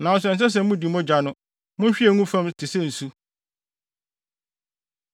Nanso ɛnsɛ sɛ mudi mogya no. Munhwie ngu fam te sɛ nsu.